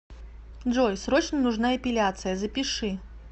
джой срочно нужна эпиляция запиши